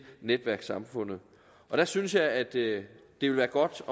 netværkssamfundet der synes jeg at det ville være godt